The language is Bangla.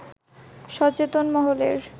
সচেতন মহলের